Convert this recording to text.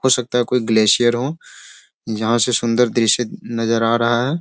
हो सकता है कोई ग्‍लेशियर हो जहाँ से सुंदर दृश्‍य नजर आ रहा है।